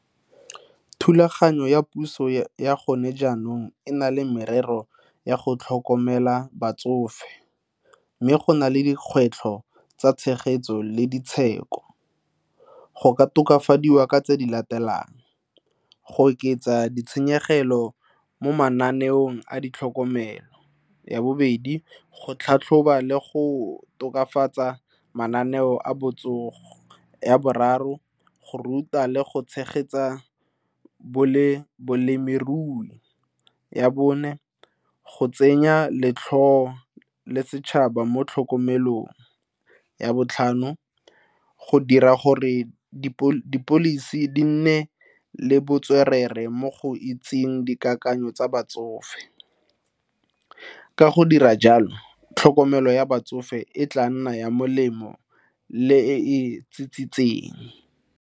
Thulaganyo ya puso ya gone jaanong e na le merero ya go tlhokomela batsofe mme go na le dikgwetlho tsa tshegetso le go ka tokafadiwa ka tse di latelang, go oketsa ditshenyegelo mo mananeong a ditlhokomelo. Ya bobedi, go tlhatlhoba le go tokafatsa mananeo a botsogo. Ya boraro, go ruta le go tshegetsa boleng balemirui. Ya bone, go tsenya letlhogela setšhaba mo tlhokomelong. Ya botlhano, go dira gore di policy di nne le botswerere mo go itseng dikakanyo tsa batsofe, ka go dira jalo tlhokomelo ya batsofe e tla nna ya molemo le e e .